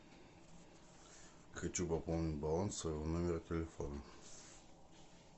хочу пополнить баланс своего номера телефона